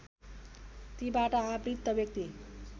तीबाट आवृत व्यक्ति